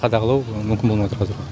қадағалау мүмкін болмай тұр қазір